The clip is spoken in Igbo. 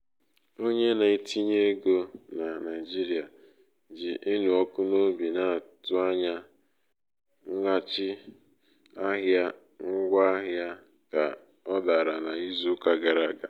onye na-etinye um ego ego na naijiria ji ịnụ ọkụ n'obi na-atụ anya mweghachi ahịa ngwaahịa ahịa ka ọ dara n'izu uka gara aga.